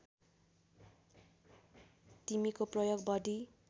तिमीको प्रयोग बढी